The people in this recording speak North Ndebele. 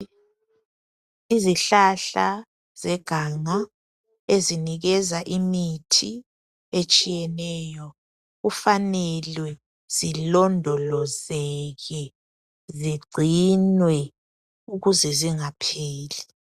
Izihlahla zeganga ezinikeza imithi etshiyeneyo kufanele zilondolozeke zigcinwe ukuze zingapheli.